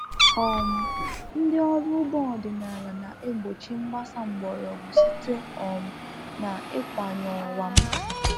um Ndị ọrụ ugbo ọdịnala na egbochi mbasa mgbọrọgwụ site um na ịkwany ọwa M